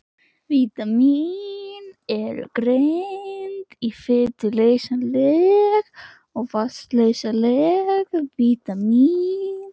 Vítamín eru greind í fituleysanleg og vatnsleysanleg vítamín.